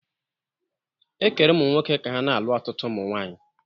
Ekere ụmụnwoke ka ha na-alụ ọtụtụ ụmụ nwaanyị.